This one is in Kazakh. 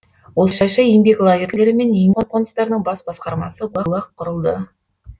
осылайша еңбек лагерьлері мен еңбек қоныстарының бас басқармасы гулаг құрылды